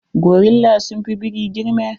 Gorilla sun fi biri girma.